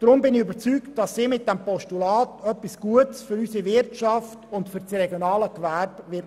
Deshalb bin ich überzeugt, dass Sie aufgrund dieses Postulats etwas Gutes für unsere Wirtschaft und das regionale Gewerbe tun wird.